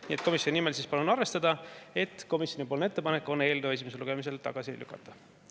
Nii et komisjoni nimel palun arvestada, et komisjoni ettepanek on eelnõu esimesel lugemisel tagasi lükata.